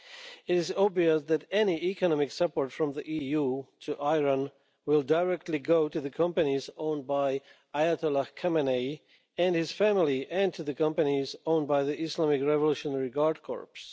It is obvious that any economic support from the EU to Iran will go directly to the companies owned by Ayatollah Khamenei and his family and to the companies owned by the Islamic Revolutionary Guard Corps.